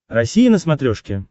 россия на смотрешке